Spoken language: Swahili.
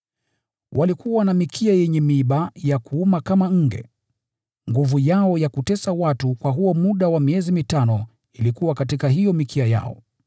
Walikuwa na mikia yenye miiba ya kuumia kama nge. Nguvu yao ya kutesa watu kwa huo muda wa miezi mitano ilikuwa katika hiyo mikia yao.